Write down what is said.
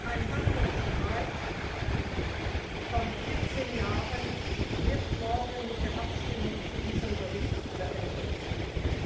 Ein Handelsstreit von 14 Jahren wird morgen mit der Abstimmung über diesen Bericht zu Ende sein.